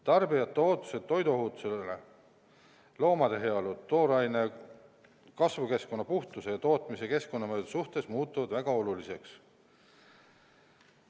Tarbijate ootused toiduohutuse, loomade heaolu, tooraine, kasvukeskkonna puhtuse ja tootmise keskkonnamõjude suhtes muutuvad väga oluliseks.